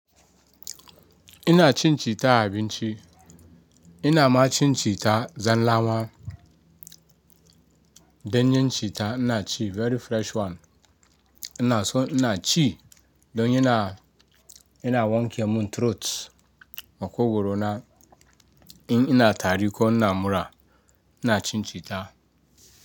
Ina cin citta a abinci ina ma cin citta zan lawa. Danyen citta ina ci very fresh one. Ina so ina ci don yana wanke mun throat makogwaro na in ina tari ko ina mura ina cin cita.